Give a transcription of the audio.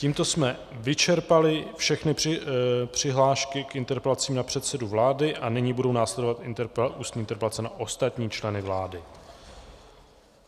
Tímto jsme vyčerpali všechny přihlášky k interpelacím na předsedu vlády a nyní budou následovat ústní interpelace na ostatní členy vlády.